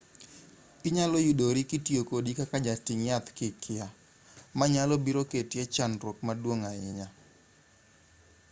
inyalo yudori kitiyo kodi kaka jating' yath ka ikia ma nyalo biro keti e chandruok maduong' ahinya